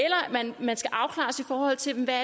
man skal afklares i forhold til hvad